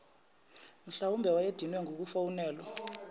mhlwawumbe wayedinwe ngukufonelwa